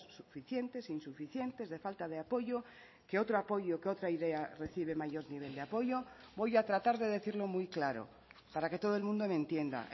suficientes insuficientes de falta de apoyo que otro apoyo que otra idea recibe mayor nivel de apoyo voy a tratar de decirlo muy claro para que todo el mundo me entienda